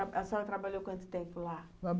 E a senhora trabalhou quanto tempo lá?